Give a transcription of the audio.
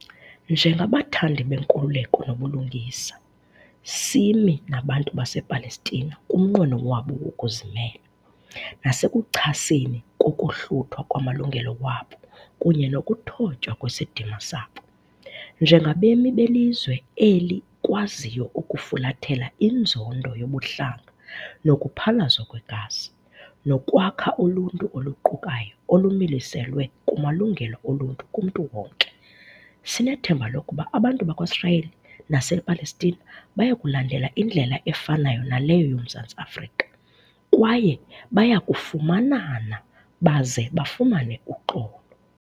Njengabathandi benkululeko nobulungisa, simi nabantu basePalestina kumnqweno wabo wokuzimela, nasekuchaseni kokohluthwa kwamalungelo wabo kunye nokuthotywa kwesidima sabo. Njengabemi belizwe eli kwaziyo ukufulathela inzondo yobuhlanga nokuphalazwa kwegazi, nokwakha uluntu oluqukayo olumiliselwe kumalungelo oluntu kumntu wonke, sinethemba lokuba abantu bakwaSirayeli nasePalestina bayakulandela indlela efanayo naleyo yoMzantsi Afrika, kwaye bayakufumanana baze bafumane uxolo.